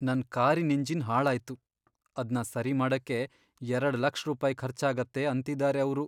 ನನ್ ಕಾರಿನ್ ಎಂಜಿನ್ ಹಾಳಾಯ್ತು. ಅದ್ನ ಸರಿ ಮಾಡಕ್ಕೆ ಎರಡ್ ಲಕ್ಷ್ ರೂಪಾಯ್ ಖರ್ಚಾಗತ್ತೆ ಅಂತಿದಾರೆ ಅವ್ರು.